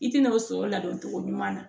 I tina o sɔrɔ ladɔn cogo ɲuman na